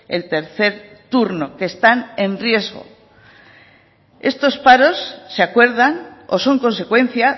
el tercer turno que están en riesgo estos paros se acuerdan o son consecuencia